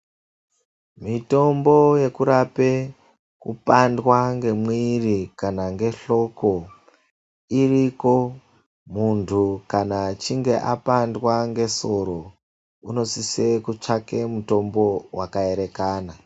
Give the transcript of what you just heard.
Mitombo yekurape kupandwa ngemwiri kana ngehloko iriko. Muntu kana echinge apandwa ngesoro unosise kutsvake mutombo wakaerekana.